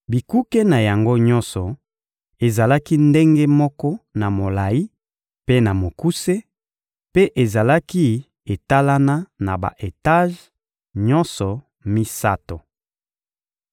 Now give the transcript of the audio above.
Bikuke na yango nyonso ezalaki ndenge moko na molayi mpe na mokuse, mpe ezalaki etalana na ba-etaje nyonso misato.